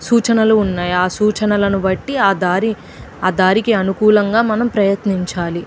సూచనలు ఉన్నాయి ఆ సూచనలను బట్టి ఆ దారి ఆ దారి కి అనుకులంగా మనం ప్రయత్నించాలి.